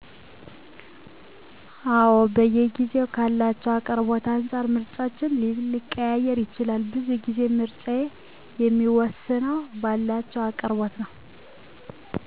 አወ በየጊዜዉ ካላቸዉ አቅርቦት አንፃር ምርጫችን ሊቀያየር ይችላል። ቡዙ ጊዜ ምረጫየ የሚወስነዉ ባላቸዉ አቅርቦት ነዉ